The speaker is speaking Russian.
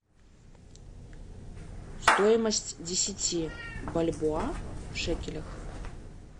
стоимость десяти бальбоа в шекелях